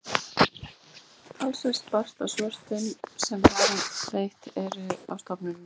talsvert barst af svörum sem varðveitt eru á stofnuninni